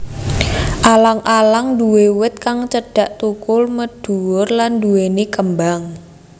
Alang alang nduwé wit kang cendhek thukul mendhuwur lan nduwèni kembang